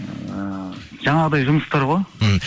ыыы жаңағыдай жұмыстар ғой ммх